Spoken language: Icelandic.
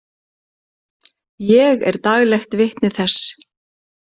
Ég er daglegt vitni þess.